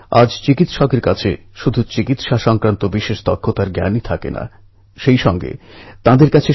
ওখানকার সম্পর্কে ওখানকার লোক ভাষা সংস্কৃতি সম্বন্ধে জানুন